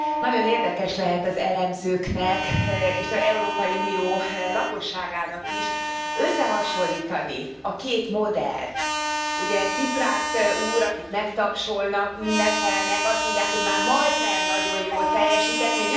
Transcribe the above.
Nagyon érdekes lehet az elemzőknek és az Európai Unió lakosságának is összehasonlítani a két modellt, ugye Ciprász úr, akit megtapsolnak, ünnepelnek, azt mondják, hogy már majdnem nagyon jól teljesített.